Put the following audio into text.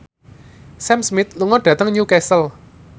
Sam Smith lunga dhateng Newcastle